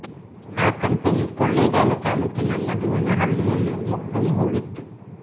ಆ ಕಂಪನಿ ಕೊಳ್ಳೇಗಾಲ ತಾಲ್ಲೂಕಿನ ಮಧುವನ ಹಳ್ಳಿಯಲ್ಲಿ ಮೊಕ್ಕಾಂ ಹೂಡಿತ್ತು